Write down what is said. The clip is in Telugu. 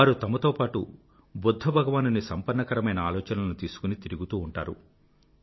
వారు తమతో పాటూ బుధ్ధ భగవానుని సంపన్నకరమైన ఆలోచనలను తీశుకుని తిరుగుతూ ఉంటారు